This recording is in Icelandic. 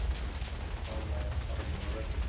Ánægjan horfin úr röddinni.